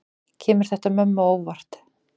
Kemur þetta mönnum á óvart?